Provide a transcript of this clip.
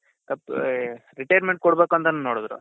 retirement ಕೊಡ್ಬೇಕ್ ಅಂತನು ನೋಡದ್ರು.